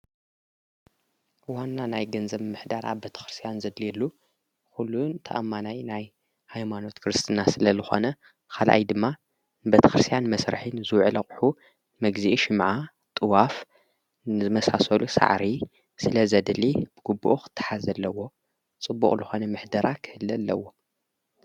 ዋና ናይ ገንዘብ ምሕዳራ ቤተ ኽርስትያን ዘድልየሉ ዂሉን ተኣማናይ ናይ ሃይማኖት ክርስትና ስለ ልኾነ ኻልኣይ ድማ ቤተ ኽርስትያን መስርሒ ንዝውዕሉ ኣቕሑ መጊዝኢ ሽምዓ፣ ጥዋፍ ዝመሳሰሉ ፃዕሪ ስለዘድሊ ብግቡኡ ኽተሓዝ ኣለዎ ፣ፅቡቕ ልኾነ ምሕደራ ኽህሊ ኣለዎ፡፡